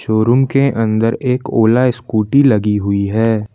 Showroom के अंदर एक ओला स्कूटी लगी हुई है।